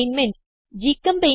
assignment 1